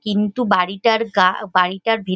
কিন্তু বাড়িটার গা বাড়িটার ভি --